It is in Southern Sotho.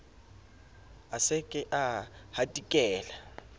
a se ke a hatikela